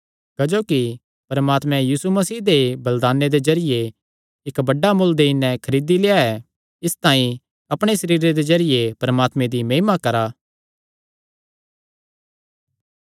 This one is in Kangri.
क्जोकि परमात्मे यीशु मसीह दे बलिदाने दे जरिये इक्क बड्डा मुल्ल देई नैं खरीदी लेआ ऐ इसतांई अपणे सरीरे दे जरिये परमात्मे दी महिमा करा